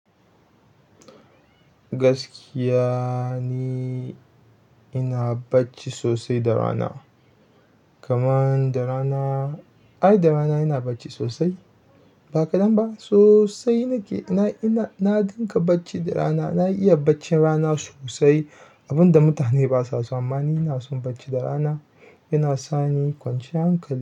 Gaskiya ni ina bacci sosai da rana. Kaman da rana, ai da rana ina bacci sosai. Ba kaɗan ba sosai nike. Ina, ina, na ɗinka bacci da rana. Na iya baccin rana sosai. Abin da mutane basa so amma ni ina son bacci da rana. Yana sani kwanciyan hankali.